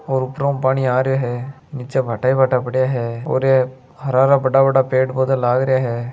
और उपराऊ पानी आ रियो है नीचे भाठा ही भाठा पड़िया है और यह हरा हरा बड़ा बड़ा पेड़ पोधा लाग रिया है।